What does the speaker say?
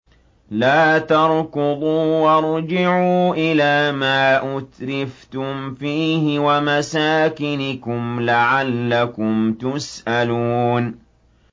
لَا تَرْكُضُوا وَارْجِعُوا إِلَىٰ مَا أُتْرِفْتُمْ فِيهِ وَمَسَاكِنِكُمْ لَعَلَّكُمْ تُسْأَلُونَ